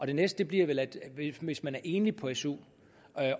det næste bliver vel hvis man er enlig på su